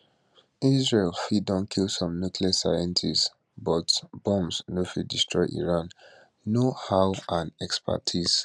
israel fit don kill some nuclear scientists but bombs no fit destroy iran knowhow and expertise